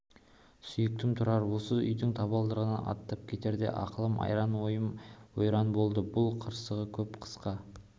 сүйіктім тұрар осы үйдің табалдырығынан аттап кетерде ақылым айран ойым ойран болды бұл қырсығы көп қысқа